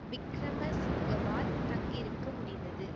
விக்கிரமசிங்கவால் தங்கியிருக்க முடிந்தது